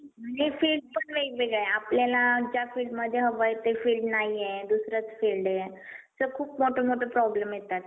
आणि फीस पण वेगवेगळं आहे आपल्याला ज्या fieldमध्ये हवं आहे त्या field नाहीये दुसरंच field आहे. तर खूप मोठं मोठं problem येतात.